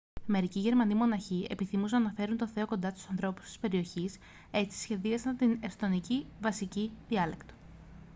μερικοί γερμανοί μοναχοί επιθυμούσαν να φέρουν τον θεό κοντά στους ανθρώπους της περιοχής έτσι σχεδιάσαν την εσθονική βασική διάλεκτο